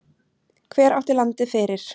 Hver átti landið fyrir?